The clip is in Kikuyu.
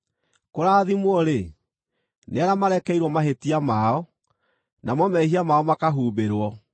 “Kũrathimwo-rĩ, nĩ arĩa marekeirwo mahĩtia mao, namo mehia mao makahumbĩrwo.